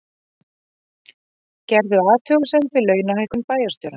Gerðu athugasemd við launahækkun bæjarstjóra